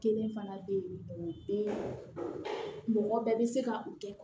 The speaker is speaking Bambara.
Kelen fana bɛ yen o bɛ mɔgɔ bɛɛ bɛ se ka u kɛ